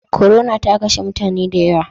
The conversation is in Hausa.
Corona ta kashe mutane dayawa